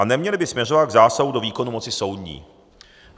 A neměly by směřovat k zásahu do výkonu moci soudní.